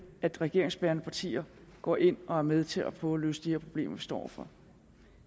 at regeringsbærende partier går ind og er med til at prøve at løse de her problemer vi står over for